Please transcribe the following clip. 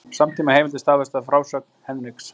Samtímaheimildir staðfesta þessa frásögn Hendriks.